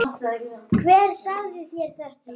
Hann vildi eiga þær einn.